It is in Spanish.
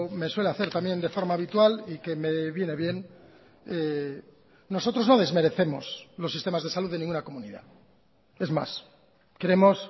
me suele hacer también de forma habitual y que me viene bien nosotros no desmerecemos los sistemas de salud de ninguna comunidad es más creemos